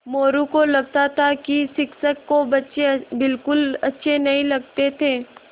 मोरू को लगता था कि शिक्षक को बच्चे बिलकुल अच्छे नहीं लगते थे